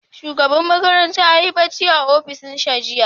Shugaban makarantar ya yi barci a ofishinsa jiya.